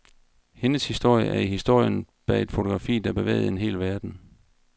Hendes historie er historien bag et fotografi, der bevægede en hel verden.